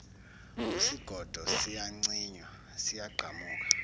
usigodo siyacinywa siyagqamuka